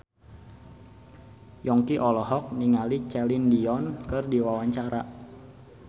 Yongki olohok ningali Celine Dion keur diwawancara